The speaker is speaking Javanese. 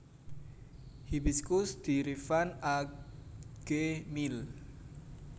Hibiscus diriffan A G Mill